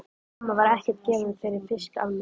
Mamma var ekkert gefin fyrir fisk almennt.